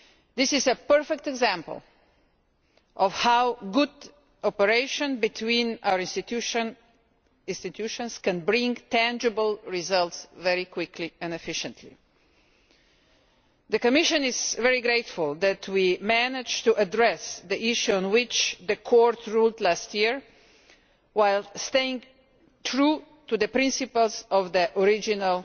This is a perfect example of how good cooperation between our institutions can bring tangible results very quickly and efficiently. The Commission is very grateful that we managed to address the issue on which the Court ruled last year, while staying true to the principles of the original